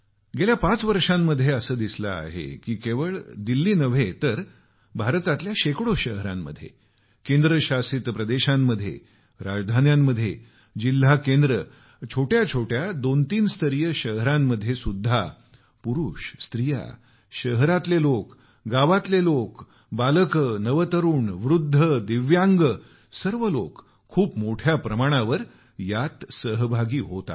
गेल्या 5 वर्षामध्ये असं दिसलं आहे की केवळ दिल्ली नव्हे तर भारतातल्या शेकडो शहरांमध्ये केंद्रशासित प्रदेशांमध्ये राजधान्यांमध्ये जिल्हा केंद्रे दुसऱ्या आणि तिसऱ्या स्तराची छोट्या शहरांमध्ये सुद्धा पुरुष स्त्रिया शहरातले लोक गावातले लोक बालक नवतरुण वृद्ध दिव्यांग सर्व लोक खूप मोठ्या प्रमाणावर सहभागी होत आहेत